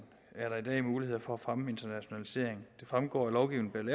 er der i dag muligheder for at fremme internationalisering det fremgår af lovgivningen